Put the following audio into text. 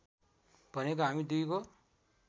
भनेको हामी दुईको